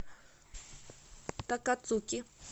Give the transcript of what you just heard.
такацуки